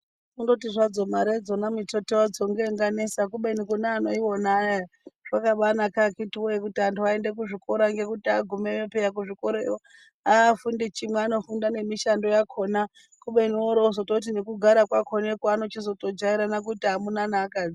Kungoti hadzo Mari dzakona mitete yadzo ndoinganetsa kubeni hayi kune anoiona ayaya zvakambainaka akiti kuti andu aende kuzvikora peya ngekuti agumeyo kuchikora ikweyo haafundi chimwe anofunda nemishando yakona kubeni wozoti woryo nekugara kwakona kwaanozotojairana koite mwamuna nevakadzi.